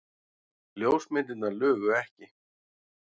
Ljósmyndirnar lugu ekki.